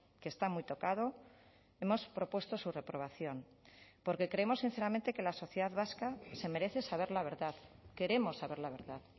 que está muy tocado hemos propuesto su reprobación porque creemos sinceramente que la sociedad vasca se merece saber la verdad queremos saber la verdad